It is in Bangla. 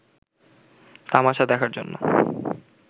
তামাশা দেখার জন্য